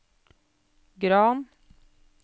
Gran